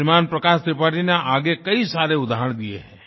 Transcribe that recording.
श्रीमान प्रकाश त्रिपाठी ने आगे कई सारे उदाहरण दिए हैं